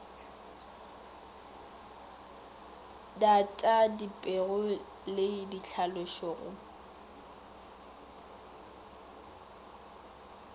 data dipego le ditlhalošo go